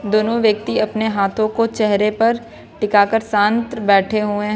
दोनों व्यक्ति अपने हाथों को चेहरे पर टीका कर शांत बैठे हुए हैं।